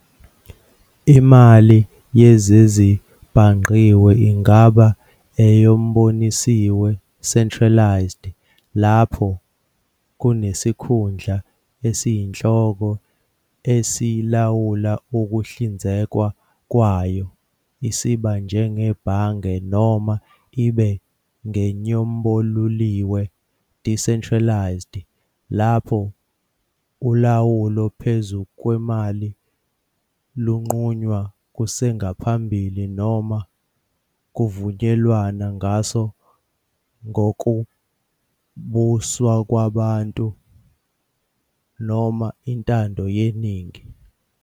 Imali yezezibhangqiwe ingaba enyombonisiwe "centralised", lapho kunesikhundla esiyinhloko esilawula ukuhlinzekwa kwayo, isb. njengebhange, noma ibe ngenyomboluliwe "decentralised", lapho ulawulo phezu kwemali lunqunywa kusengaphambili noma kuvunyelwana ngaso ngokombusowabantu noma intando yeningi.